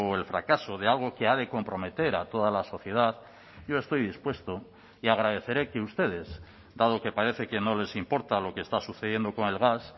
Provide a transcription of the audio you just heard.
el fracaso de algo que ha de comprometer a toda la sociedad yo estoy dispuesto y agradeceré que ustedes dado que parece que no les importa lo que está sucediendo con el gas